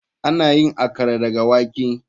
Ana yin Akara daga wake.